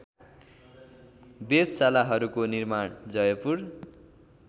वेधशालाहरूको निर्माण जयपुर